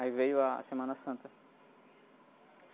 Aí veio a Semana Santa.